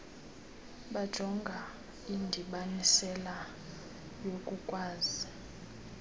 bujonga indibanisela yokukwazi